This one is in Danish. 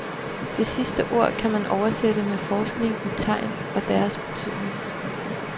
Det sidste ord kan man oversætte med forskning i tegn og deres betydning.